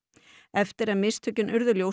eftir að mistökin urðu ljós